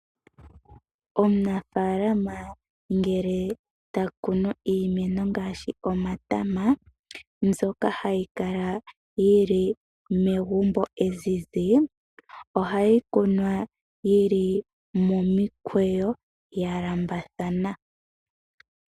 Omunafaalana ngele ta kunu iimeno ngaashi omatama, mbyoka hayi kala yi li megumbo ezizi, ohayi kunwa yili momikweyo ya lambathana.